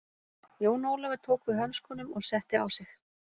Jón Ólafur tók við hönskunum og setti á sig.